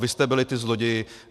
Vy jste byli ti zloději.